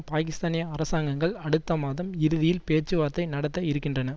பாகிஸ்தானிய அரசாங்கங்கள் அடுத்த மாதம் இறுதியில் பேச்சுவார்த்தை நடத்த இருக்கின்றன